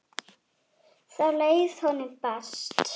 Þá leið honum best.